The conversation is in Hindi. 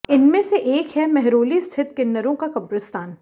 इनमें से एक है मेहरौली स्थित किन्नरों का कब्रिस्तान